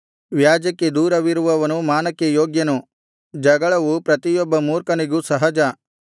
ವ್ಯಾಜ್ಯಕ್ಕೆ ದೂರವಿರುವವನು ಮಾನಕ್ಕೆ ಯೋಗ್ಯನು ಜಗಳವು ಪ್ರತಿಯೊಬ್ಬ ಮೂರ್ಖನಿಗೂ ಸಹಜ